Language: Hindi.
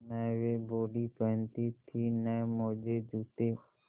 न वे बॉडी पहनती थी न मोजेजूते